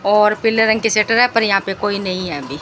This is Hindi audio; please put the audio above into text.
और पीले रंग की शटर है पर यहां पे कोई नहीं है अभी।